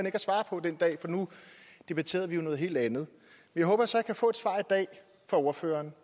at svare på den dag for nu debatterede vi jo noget helt andet jeg håber så at jeg kan få et svar fra ordføreren